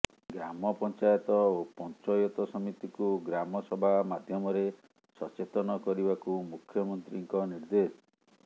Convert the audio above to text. ଗ୍ରାମ ପଞ୍ଚାୟତ ଓ ପଂଚୟତ ସମିତି କୁ ଗ୍ରାମ ସଭା ମାଧ୍ୟମରେ ସଚେତନ କରିବାକୁ ମୁଖ୍ୟମନ୍ତ୍ରୀ ନ୍କ ନିର୍ଦ୍ଦେଶ